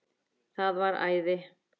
Það væri æði